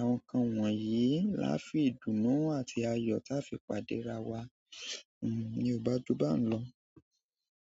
Àwọn nǹkan wọ̀nyí laá fi ìdùnnú àti ayọ̀ táa fi pàdé ra wá. Ni kò bá, ju báhun lọ.